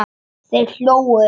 Þeir hlógu.